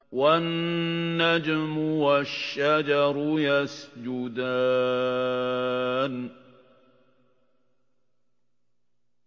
وَالنَّجْمُ وَالشَّجَرُ يَسْجُدَانِ